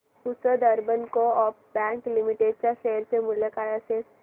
Pusad urban co-op bank limited च्या share चे मूल्य काय असेल